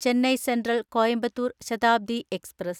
Chennai central Coimbatore‍ Shatabdi express